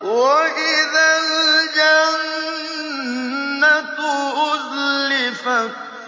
وَإِذَا الْجَنَّةُ أُزْلِفَتْ